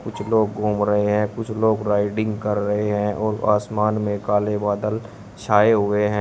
कुछ लोग घूम रहे हैं कुछ लोग राइडिंग कर रहे हैं और आसमान में काले बादल छाए हुए हैं।